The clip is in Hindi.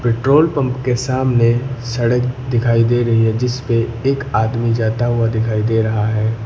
पेट्रोल पंप के सामने सड़क दिखाई दे रही है जिस पे एक आदमी जाता हुआ दिखाई दे रहा है।